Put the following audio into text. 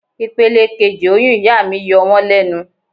Ipele kejì oyún ìyá mi yọ wón lẹ́nu.